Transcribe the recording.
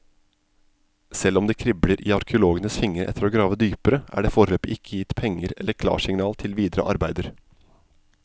Selv om det kribler i arkeologenes fingre etter å grave dypere, er det foreløpig ikke gitt penger eller klarsignal til videre arbeider.